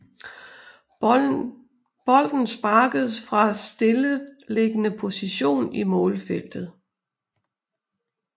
Bolden sparkes fra stilleliggende position i målfeltet